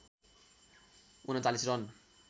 ३९ run